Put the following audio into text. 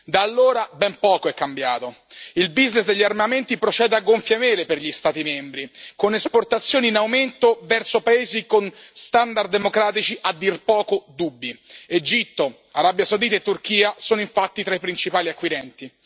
Da allora, ben poco è cambiato il degli armamenti procede a gonfie vele per gli Stati membri, con esportazioni in aumento verso paesi con standard democratici a dir poco dubbi Egitto, Arabia Saudita e Turchia sono infatti tra i principali acquirenti.